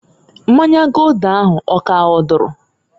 Mmanya Gulder ahụ ọ k'ahọdụrụ?